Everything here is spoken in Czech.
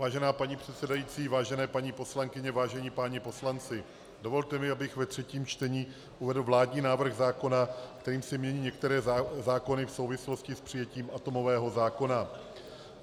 Vážená paní předsedající, vážené paní poslankyně, vážení páni poslanci, dovolte mi, abych ve třetím čtení uvedl vládní návrh zákona, kterým se mění některé zákony v souvislosti s přijetím atomového zákona.